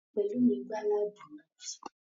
Pelumi gbá láàbù náà